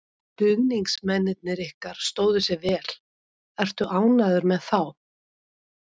Stuðningsmennirnir ykkar stóðu sig vel, ertu ánægður með þá?